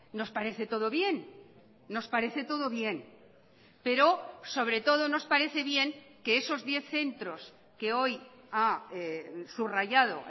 nos parece todo bien nos parece todo bien pero sobre todo nos parece bien que esos diez centros que hoy ha subrayado